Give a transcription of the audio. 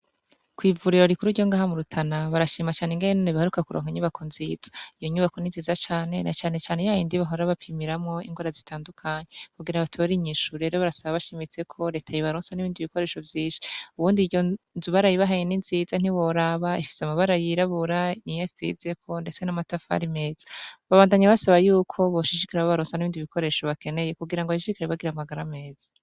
Kw'ivuriro rikuru ryo ngaha mu Rutana barashima cane ingene baheruka kuronka inyubako nziza, iyo nyubako ni nziza cane na canecane ya yindi bahora bapimiramwo ingwara zitandukanye kugira batore inyishu, rero barasaba bashimitse ko reta yobaronsa n'ibindi bikoresho vyinshi, ubundi iyo nzu barayibahaye ni nziza ntiworaba ifise amabara yirabura niyo asizeko ndetse n'amatafari meza, babandanya basaba yuko boshishikara babarosa n'ibindi bikoresho bakeneye kugira ngo bashishikare bagira amagara meza.